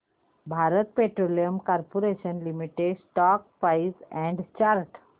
Bharat petroleum corporation limited stock price and chart